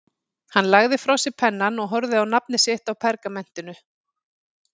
Hann lagði frá sér pennann og horfði á nafnið sitt á pergamentinu.